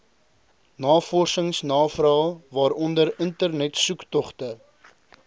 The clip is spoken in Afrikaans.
navorsingsnavrae waaronder internetsoektogte